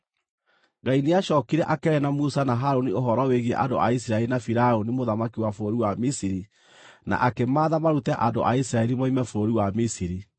Ngai nĩacookire akĩaria na Musa na Harũni ũhoro wĩgiĩ andũ a Isiraeli na Firaũni mũthamaki wa bũrũri wa Misiri na akĩmaatha marute andũ a Isiraeli moime bũrũri wa Misiri.